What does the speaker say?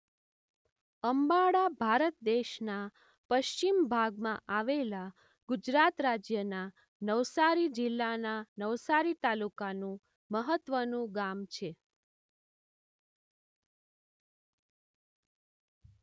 અંબાડા ભારત દેશના પશ્ચિમ ભાગમાં આવેલા ગુજરાત રાજ્યના નવસારી જિલ્લાના નવસારી તાલુકાનું મહત્વનું ગામ છે.